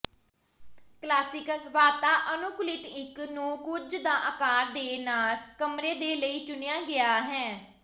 classical ਵਾਤਾਅਨੁਕੂਲਿਤ ਇੱਕ ਨੂੰ ਕੁਝ ਦਾ ਆਕਾਰ ਦੇ ਨਾਲ ਕਮਰੇ ਦੇ ਲਈ ਚੁਣਿਆ ਗਿਆ ਹੈ